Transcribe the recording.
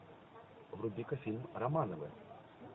вруби ка фильм романовы